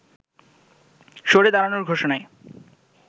সরে দাঁড়ানোর ঘোষণায়